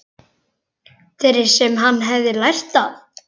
Þeirri sem hann hefði lært af.